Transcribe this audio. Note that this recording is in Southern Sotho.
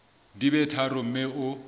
di be tharo mme o